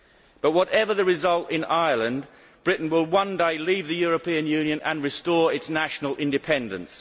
But whatever the result in Ireland, Britain will one day leave the European Union and restore its national independence.